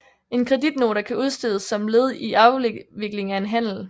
En kreditnota kan udstedes som led i afvikling af en handel